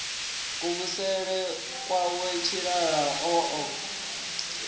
kuvhusele kwawe tshilala o ḓo